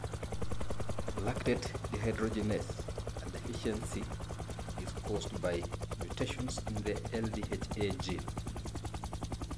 Lactate dehydrogenase A deficiency is caused by mutations in the LDHA gene.